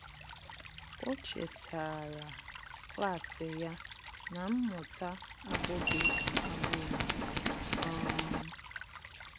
Ọ́ chètàrà klas ya na mmụta ábụ́ghị́ ágbụ́rụ́. um